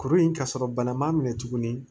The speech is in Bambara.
Kuru in ka sɔrɔ bana m'a minɛ tuguni